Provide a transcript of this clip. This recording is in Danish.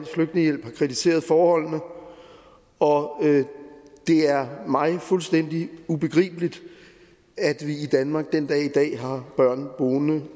flygtningehjælp har kritiseret forholdene og det er mig fuldstændig ubegribeligt at vi i danmark den dag i dag har børn boende